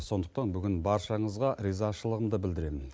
сондықтан бүгін баршаңызға ризашылығымды білдіремін